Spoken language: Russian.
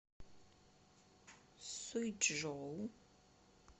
суйчжоу